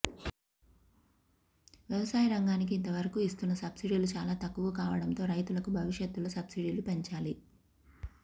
వ్యవసాయ రంగానికి ఇంతవరకు ఇస్తున్న సబ్సిడీలు చాలా తక్కువ కావడంతో రైతులకు భవిష్యత్తులో సబ్సిడీలు పెంచాలి